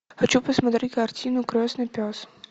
хочу посмотреть картину красный пес